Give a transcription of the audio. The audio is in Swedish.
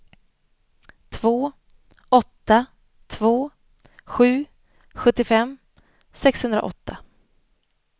två åtta två sju sjuttiofem sexhundraåtta